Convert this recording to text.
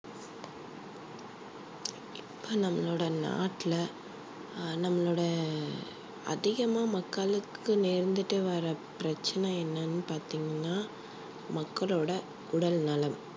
இப்ப நம்மளோட நாட்டுல அஹ் நம்மளோட அதிகமா மக்களுக்கு நேர்ந்திட்டு வர பிரச்சனை என்னன்னு பார்த்தீங்கன்னா மக்களோட உடல்நலம்